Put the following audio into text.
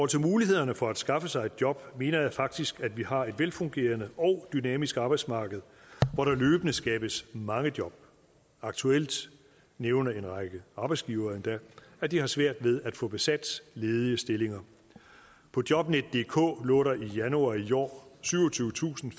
til mulighederne for at skaffe sig et job mener jeg faktisk at vi har et velfungerende og dynamisk arbejdsmarked hvor der løbende skabes mange job aktuelt nævner en række arbejdsgivere endda at de har svært ved at få besat ledige stillinger på jobnetdk lå der i januar i år syvogtyvetusinde